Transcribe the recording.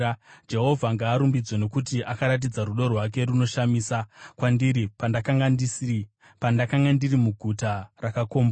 Jehovha ngaarumbidzwe, nokuti akaratidza rudo rwake runoshamisa kwandiri pandakanga ndiri muguta rakakombwa.